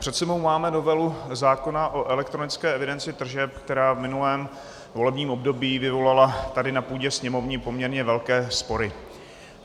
Před sebou máme novelu zákona o elektronické evidenci tržeb, která v minulém volebním období vyvolala tady na půdě Sněmovny poměrně velké spory.